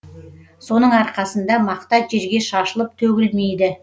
соның арқасында мақта жерге шашылып төгілмейді